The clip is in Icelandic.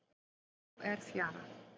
Nú er fjara.